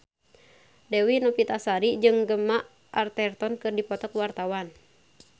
Dewi Novitasari jeung Gemma Arterton keur dipoto ku wartawan